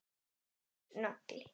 Harður nagli.